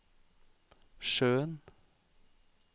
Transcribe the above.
sjøen